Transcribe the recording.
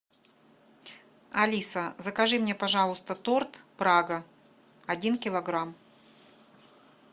алиса закажи мне пожалуйста торт прага один килограмм